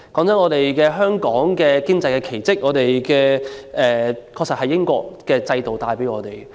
坦白說，香港的經濟奇跡的確由英國留下的制度帶來。